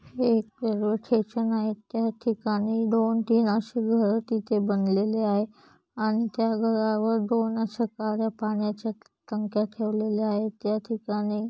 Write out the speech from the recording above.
एक railway station आहे त्या ठिकाणी दो तीन अशी घर तिथे बनलेले आहेत आणि त्या घरावर दोन अश्या कार्‍या पाण्या च्या टंक्या ठेवलेले आहेत त्या ठिकाणी --